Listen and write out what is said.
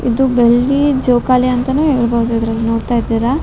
ಇದು ಬೆಳ್ಳಿ ಜೋಕಾಲಿ ಅಂತಾನು ಹೇಳ್ಬೋದು ಇದ್ರಲ್ಲಿ ನೋಡ್ತಾ ಇದ್ದೀರಾ.